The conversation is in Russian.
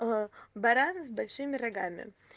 баран с большими рогами